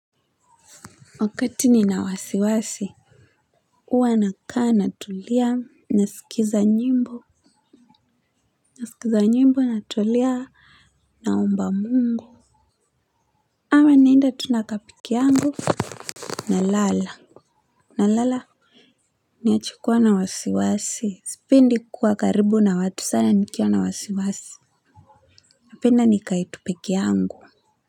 Wakati nina wasiwasi huwa nakaa natulia, naskiliza nyimbo, naskiliza nyimbo, natulia naomba Mungu ama niende tu nakaa pekee yangu, na lala, na lala niache kuwa na wasiwasi. Sipendi kuwa karibu na watu sana nikiwa na wasiwasi napenda nikae tu pekee yangu.